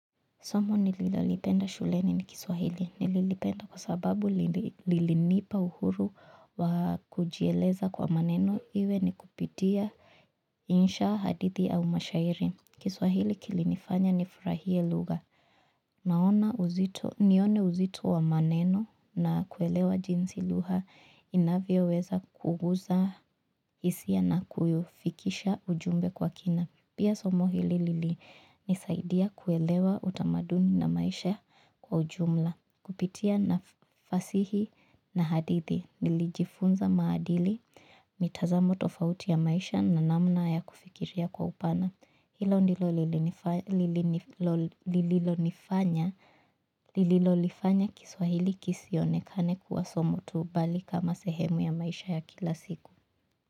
Somo nililolipenda shuleni ni Kiswahili. Nililipenda kwa sababu lilinipa uhuru wakujieleza kwa maneno iwe ni kupitia insha, hadithi au mashairi. Kiswahili kilinifanya ni furahie lugha naona uzito, nione uzito wa maneno na kuelewa jinsi lugha inavyoweza kugusa isia na kuyufikisha ujumbe kwa kina. Pia somo hili lilinisaidia kuelewa utamaduni na maisha kwa ujumla. Kupitia na fasihi na hadithi, nilijifunza maadili, mitazamo tofauti ya maisha na namna ya kufikiria kwa upana. Hilo ndilo lililonifanya, lililolifanya Kiswahili kisionekane kuwa somo tu bali kama sehemu ya maisha ya kila siku.